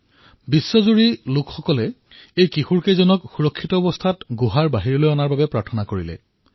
সমগ্ৰ বিশ্বৰ জনতাই এই কিশোৰকেইজনক সুৰক্ষিতভাৱে বাহিৰলৈ ওলোৱাৰ বাবে প্ৰাৰ্থনা কৰি আছিল